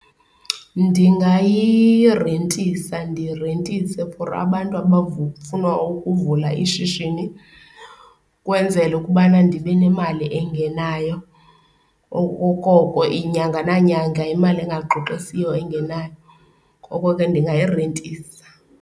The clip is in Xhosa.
Ndingayirentisa ndirentise for abantu abazofuna ukuvula ishishini kwenzela ukubana ndibe nemali engenayo, okokoko inyanga nanyanga imali engaxoxisiyo engenayo. Ngoko ke ndingayirentisa.